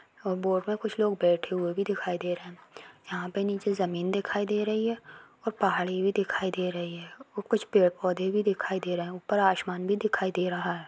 Boat में कुछ लोग बेठे हुए भी दिखाई दे रहे हैं यहाँ पे नीचे जमीन भी दिखाई दे रही है और पहाड़ी भी दिखाई दे रही है और कुछ पेड़-पौधा भी दिखाई दे रहे हैं ऊपर आसमान भी दिखाई दे रहा है।